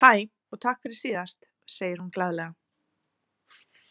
Hæ, og takk fyrir síðast, segir hún glaðlega.